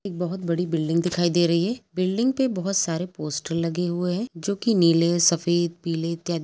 एक बोहोत बड़ी बिल्डिंग दिखाई दे रही है। बिल्डिंग पे बोहोत सारे पोस्टर लगे हए है जोकि नीले सफेद पीले इत्यादि --